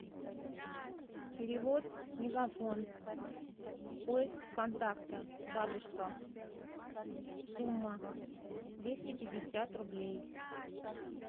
перевод мегафон поиск контакта бабушка сумма двести пятьдесят рублей